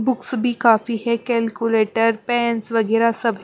books भी काफी है कैलकुलेटर पेंस वगैरह सब --